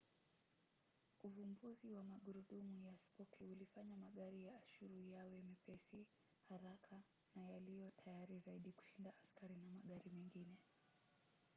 uvumbuzi wa magurudumu ya spoki ulifanya magari ya ashuru yawe mepesi haraka na yaliyo tayari zaidi kushinda askari na magari mengine